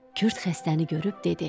Kürd xəstəni görüb dedi: